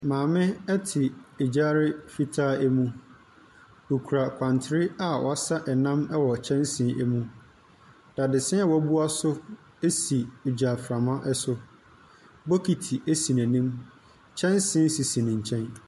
Maame te agyare fitaa mu. Okura kwantre a ɔresa nam ɛwɔ kyɛnsee mu. Dadesɛn a wabuɛso si agyaframa so. Bokiti si n'anim. Kyɛnsee sisi ne nkyɛn.